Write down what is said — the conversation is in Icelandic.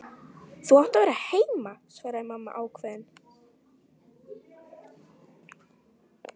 Þú átt að vera heima, svaraði mamma ákveðin.